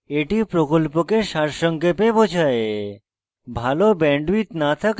এটি প্রকল্পকে সারসংক্ষেপে বোঝায়